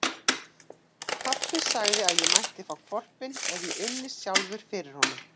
Pabbi sagði að ég mætti fá hvolpinn ef ég ynni sjálfur fyrir honum.